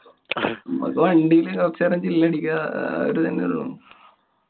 മ്മക്ക് വണ്ടില് കൊറച്ചേരം chill അടിക്യാ. ആ അതൊരു ഇതന്നെ ഒള്ളൂ.